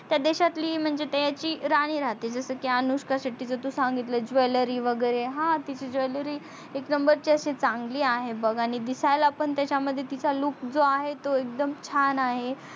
त्या देशातली म्हणजे त्यांची राणी रहाते जस की अनुष्का शेट्टीच तू सांगितल jewelry वगेरे हा तिची ह jewelry एक नंबरची असि चंगली आहे बग आणि दिसायला पण त्याच्या मध्ये तिच्या look जो आहे तो छान आहे.